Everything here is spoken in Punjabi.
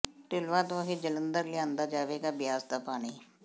ਢਿਲਵਾਂ ਤੋਂ ਹੀ ਜਲੰਧਰ ਲਿਆਂਦਾ ਜਾਵੇਗਾ ਬਿਆਸ ਦਾ ਪਾਣੀ